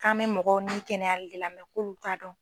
K'an bɛ mɔgɔw nin kɛnɛyali de la mɛ k'olu t'a dɔn